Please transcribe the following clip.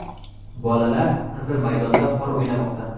Bolalar Qizil maydonda qor o‘ynamoqda.